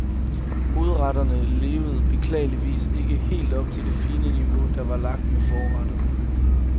Hovedretterne levede beklageligvis ikke helt op til det fine niveau, der var lagt med forretterne.